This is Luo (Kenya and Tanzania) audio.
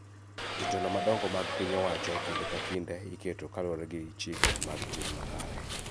Jotelo madongo mag piny owacho kinde ka kinde iketogi kaluwore gi chike mag tim makare